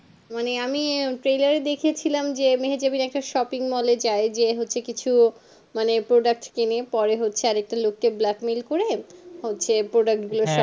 মানে আমি trailer দেখেছিলাম যে Mehejab এর একটা shopping mall এ যাই যে মানে হচ্ছে কিছু product কিনে পরে হচ্ছে একটা লোককে black-mail করে হচ্ছে product